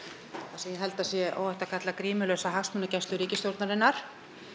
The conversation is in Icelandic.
sem ég held að sé óhætt að kalla grímulausa hagsmunagæslu ríkisstjórnarinnar